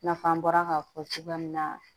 I n'a fɔ an bɔra k'a fɔ cogoya min na